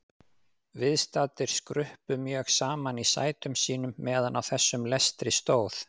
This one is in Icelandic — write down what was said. Viðstaddir skruppu mjög saman í sætum sínum meðan á þessum lestri stóð.